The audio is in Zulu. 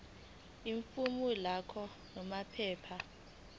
ifomu lakho namaphepha